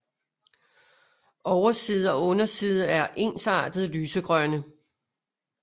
Overside og underside er ensartet lysegrønne